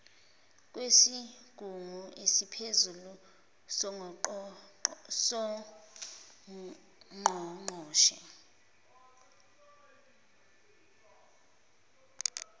kwesigungu esiphezulu songqongqoshe